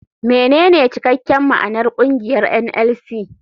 Menene cikakken ma'anar kungiyar NLC.